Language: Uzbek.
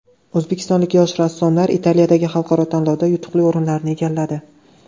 O‘zbekistonlik yosh rassomlar Italiyadagi xalqaro tanlovda yutuqli o‘rinlarni egalladi.